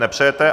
Nepřejete.